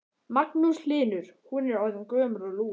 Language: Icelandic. Magnús Hlynur: Hún er orðin gömul og lúin?